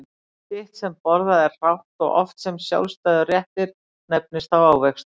Hitt sem borðað er hrátt og oft sem sjálfstæður réttur nefnist þá ávextir.